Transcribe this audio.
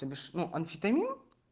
тобишь ну амфетамин